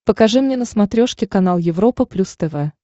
покажи мне на смотрешке канал европа плюс тв